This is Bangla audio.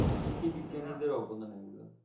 কৃষি বিজ্ঞানীদের অবদান এগুলো